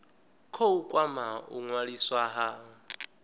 khou kwama u ṅwaliswa ha